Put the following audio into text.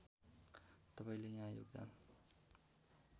तपाईँले यहाँ योगदान